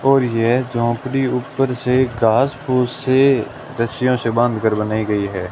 और ये झोपड़ी ऊपर से घास फुस से रस्सियां से बांधकर बनाई गई है।